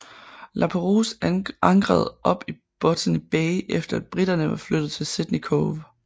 Lapérouse ankrede op i Botany Bay efter at briterne var flyttet til Sydney Cove